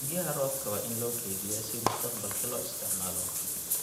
Biyaha roobka waa in loo kaydiyaa si mustaqbalka loo isticmaalo.